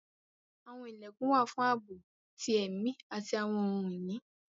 Àwọn ilẹkun wà fun àabo ti ẹmi ati awọn ohun-ini